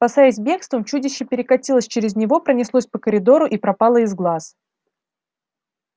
спасаясь бегством чудище перекатилось через него пронеслось по коридору и пропало из глаз